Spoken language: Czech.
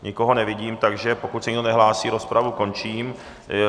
Nikoho nevidím, takže pokud se nikdo nehlásí, rozpravu končím.